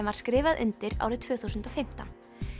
var skrifað undir árið tvö þúsund og fimmtán